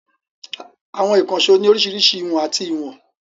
Àwọn ìkànṣó ní oríṣiríṣi ìhun àti ìwọ̀n.